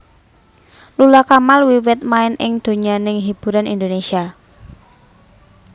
Lula Kamal wiwit main ing donyaning hiburan Indonésia